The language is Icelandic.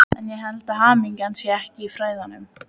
En ég held að hamingjan sé ekki í fræðunum.